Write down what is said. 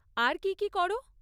আর কী কী করো?